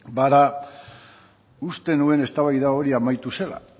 bada uste nuen eztabaida hori amaitu zela